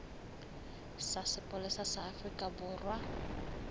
sa sepolesa sa afrika borwa